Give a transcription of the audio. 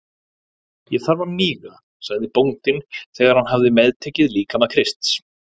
Ég þarf að míga, sagði bóndinn þegar hann hafði meðtekið líkama Krists.